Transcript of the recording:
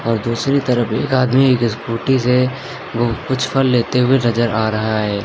और दूसरी तरफ एक आदमी एक स्कूटी से कुछ फल लेते हुए नजर आ रहा है।